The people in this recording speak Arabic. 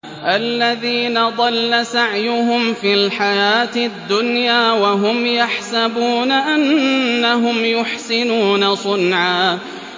الَّذِينَ ضَلَّ سَعْيُهُمْ فِي الْحَيَاةِ الدُّنْيَا وَهُمْ يَحْسَبُونَ أَنَّهُمْ يُحْسِنُونَ صُنْعًا